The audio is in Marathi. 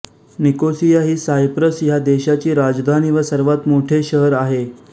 निकोसिया ही सायप्रस ह्या देशाची राजधानी व सर्वात मोठे शहर आहे